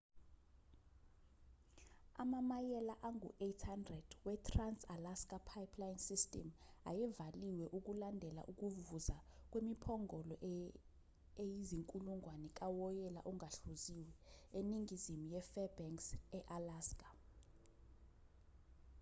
amamayela angu-800 wetrans-alaska pipeline system ayevaliwe ukulandela ukuvuza kwemiphongolo eyizinkulungwane kawoyela ongahluziwe eningizimu yefairbanks e-alaska